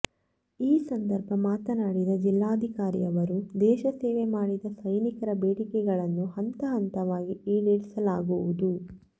ಈ ಸಂದರ್ಭ ಮಾತನಾಡಿದ ಜಿಲ್ಲಾಧಿಕಾರಿ ಅವರು ದೇಶ ಸೇವೆ ಮಾಡಿದ ಸೈನಿಕರ ಬೇಡಿಕೆಗಳನ್ನು ಹಂತ ಹಂತವಾಗಿ ಈಡೇರಿಸಲಾಗುವುದು